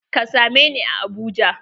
Ka same ni a Abuja!